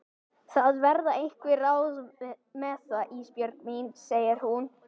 Það verða einhver ráð með það Ísbjörg mín, segir hún.